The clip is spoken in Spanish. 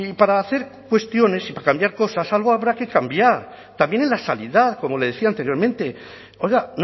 para hacer cuestiones y para cambiar cosas algo habrá que cambiar también en la sanidad como le decía anteriormente oiga